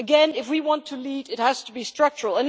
If we want to lead, it has to be structural.